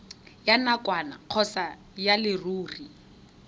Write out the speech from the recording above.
ya nakwana kgotsa ya leruri